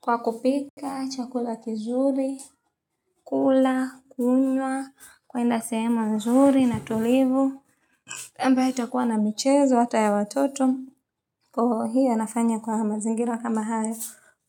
Kwa kupika, chakula kizuri, kula, kunywa, kwenda sihemu nzuri na tulivu ambayo itakuwa na michezo hata ya watoto Kwa hiyo anafanya kwa hama mazingira kama haya